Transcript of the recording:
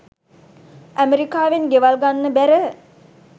ඇමරිකාවෙන් ගෙවල් ගන්න බැර